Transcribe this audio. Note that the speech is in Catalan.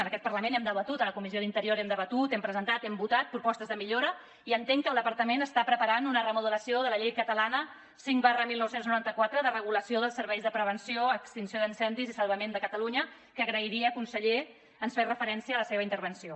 en aquest parlament hem debatut a la comissió d’interior hem debatut hem presentat i hem votat propostes de millora i entenc que el departament està preparant una remodelació de la llei catalana cinc dinou noranta quatre de regulació dels serveis de prevenció extinció d’incendis i salvament de catalunya que agrairia conseller que ens en fes referència a la seva intervenció